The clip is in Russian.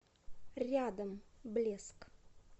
рядом блеск